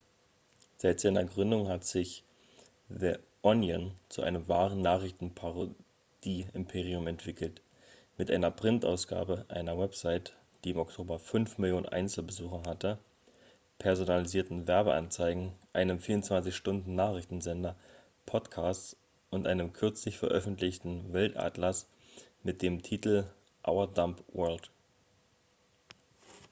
seit seiner gründung hat sich the onion zu einem wahren nachrichtenparodie-imperium entwickelt mit einer printausgabe einer website die im oktober 5 000 000 einzelbesucher hatte personalisierten werbeanzeigen einem 24-stunden-nachrichtensender podcasts und einem kürzlich veröffentlichten weltatlas mit dem titel our dumb world